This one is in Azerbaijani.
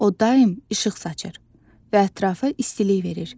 O daim işıq saçır və ətrafı istilik verir.